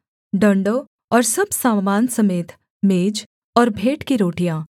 डण्डों और सब सामान समेत मेज और भेंट की रोटियाँ